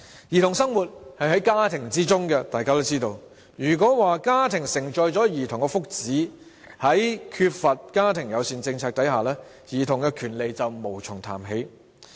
兒童生活在家庭中，如果說家庭承載着兒童的福祉，在缺乏家庭友善政策下，兒童權利便無從談起。